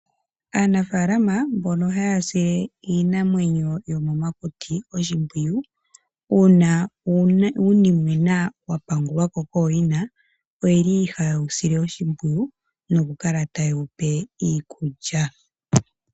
Aanafaalama mbono haya sile iinamwenyo yomomakuti oshimpwiyu uuna uunimwena wapangulwa ko kooyina oyeli haye wu sile oshimpwiyu noku kala taye wupe iikulya.